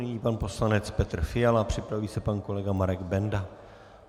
Nyní pan poslanec Petr Fiala, připraví se pan kolega Marek Benda.